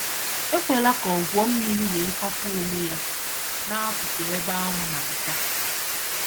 Ekwela ka ọ gwuo mmiri wee kwapụ onwe ya n'akụkụ ebe anwụ na-acha.